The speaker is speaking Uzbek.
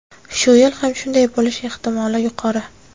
Shu yil ham shunday bo‘lishi ehtimoli yuqori.